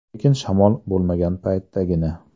Lekin shamol bo‘lmagan paytdagina.